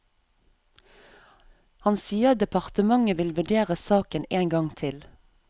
Han sier departementet vil vurdere saken en gang til.